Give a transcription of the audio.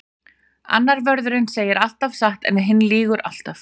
Annar vörðurinn segir alltaf satt en hinn lýgur alltaf.